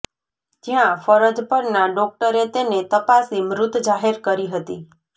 જ્યાં ફરજ પરના ડોક્ટરે તેને તપાસી મૃત જાહેર કરી હતી